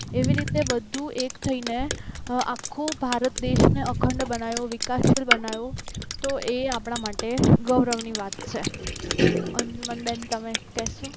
એવી રીતે બધું એક થઈને હવે આખો ભારત દેશને અખંડ બનાવ્યો વિકાસશીલ બનાવ્યો તો એ આપણા માટે ગૌરવની વાત છે અંજુમનબેન તમે કહેશો